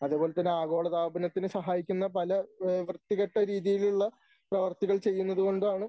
അതുപോലെതന്നെ ആഗോളതാപനത്തിന് സഹായിക്കുന്ന പല വൃത്തികെട്ട രീതിയിലുള്ള പ്രവർത്തികൾ ചെയ്യുന്നതുകൊണ്ടാണ്